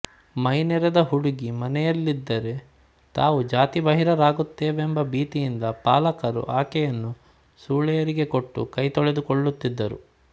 ಮೈ ನೆರೆದ ಹುಡುಗಿ ಮನೆಯಲ್ಲಿದ್ದರೆ ತಾವು ಜಾತಿ ಬಾಹಿರರಾಗುತ್ತೇವೆಂಬ ಭೀತಿಯಿಂದ ಪಾಲಕರು ಆಕೆಯನ್ನು ಸೂಳೆಯರಿಗೆ ಕೊಟ್ಟು ಕೈ ತೊಳೆದುಕೊಳ್ಳುತ್ತಿದ್ದರು